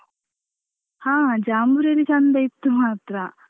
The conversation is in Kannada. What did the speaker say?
ಹ ಜಾಂಬೂರಿಲಿ ಚಂದ ಇತ್ತು ಮಾತ್ರ.